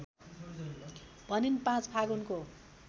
भनिन् ५ फागुनको